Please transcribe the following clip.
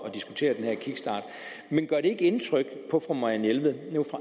at diskutere den her kickstart men gør det ikke indtryk på fru marianne jelved